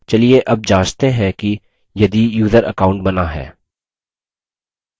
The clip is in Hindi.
चलिए अब जाँचते हैं कि यदि यूज़र account बना है